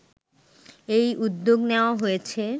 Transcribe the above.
এই উদ্যোগ নেয়া হয়েছে